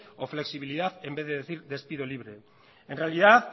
o flexibilidad en vez de decir despido libre en realidad